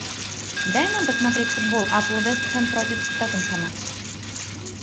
дай нам посмотреть футбол апл вест хэм против тоттенхэма